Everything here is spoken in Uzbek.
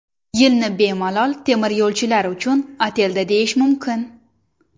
Yilni bemalol temiryo‘lchilar uchun ataldi deyish mumkin.